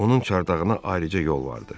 Onun çardağına ayrıca yol vardı.